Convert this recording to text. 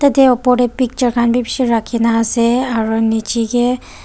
tatae opor tae picture khan bi bishi rakhina ase aro nichaekae.